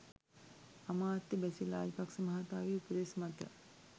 අමාත්‍ය බැසිල් රාජපක්ෂ මහතාගේ උපදෙස් මත